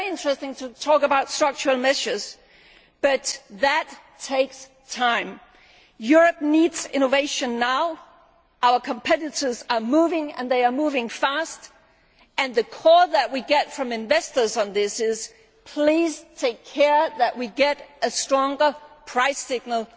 tomorrow. It is very interesting to discuss structural measures, but that takes time. Europe needs innovation now. Our competitors are moving, and they are moving fast. The call that we get from investors is this please ensure that we get a stronger